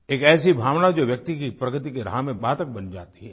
एक ऐसी भावना जो व्यक्ति के प्रगति के राह में बाधक बन जाती है